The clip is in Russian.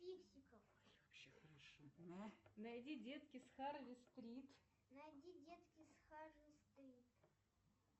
найди детки с харви стрит